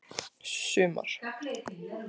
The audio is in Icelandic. sumar